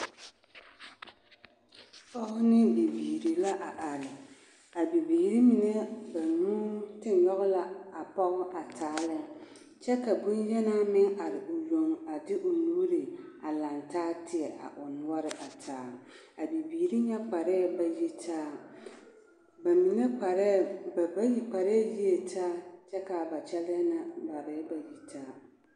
Pɔɡe ne bibiiri la a are a bibiiri mine banuu a te nyɔɡe la a pɔɡe a taa lɛ kyɛ ka bonyenaa meŋ are o yoŋ a liriliri o nuuri a lantaa teɛ o noɔre a are a bibiiri nyɛ kparɛɛ ba yitaa ba bayi kparɛɛ yie taa kyɛ ka ba kyɛlɛɛ na koarɛɛ ba yitaa.